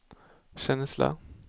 känsla